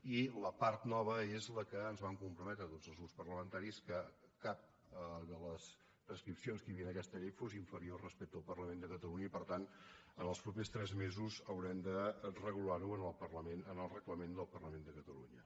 i la part nova és la que ens vam comprometre tots els grups parlamentaris que cap de les prescripcions que hi havia en aquesta llei fos inferior respecte al parlament de catalunya i per tant en els propers tres mesos haurem de regular ho en el reglament del parlament de catalunya